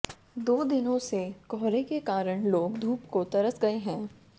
दो दिनों से कोहरे के कारण लोग धूप को तरस गए हैं